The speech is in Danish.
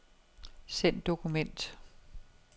Send dokument.